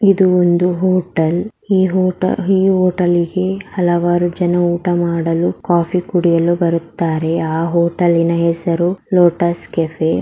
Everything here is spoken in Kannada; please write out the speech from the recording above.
ಇದು ಒಂದು ಹೋಟೆಲ್ ಈ ಹೋಟೆಲ್ ಗೆ ಹಲವಾರು ಜನ ಊಟ ಮಾಡಲು ಕಾಫಿ ಕುಡಿಯಲು ಬರುತ್ತಾರೆ ಆ ಹೋಟೆಲಿನ ಹೆಸರು ಲೋಟಸ್ ಕೆಫೆ .